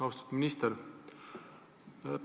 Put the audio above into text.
Austatud minister!